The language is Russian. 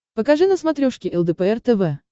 покажи на смотрешке лдпр тв